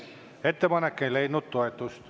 Ettepanek ei leidnud toetust.